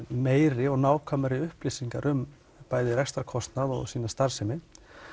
meiri og nákvæmari upplýsingar um bæði rekstrarkostnað og sína starfsemi